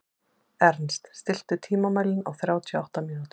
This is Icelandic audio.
Ernst, stilltu tímamælinn á þrjátíu og átta mínútur.